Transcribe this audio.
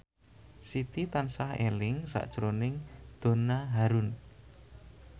Siti tansah eling sakjroning Donna Harun